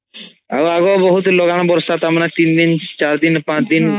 ଆଉ ଆଗରୁ ବହୁତ୍ ଲଗାନ ବର୍ଷା ତାମାନେ ତିନ ଦିନ୍ ଚାର ଦିନ୍ ପାଂଚ୍ ଦିନ୍ ହଉଥିଲା